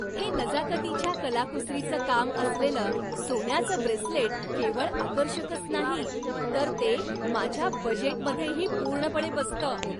हे नजाकतीच्या कलाकुसरीचं काम असलेलं सोन्याचं ब्रेसलेट केवळ आकर्षकच नाही, तर ते माझ्या बजेटमध्येही पूर्णपणे बसतं.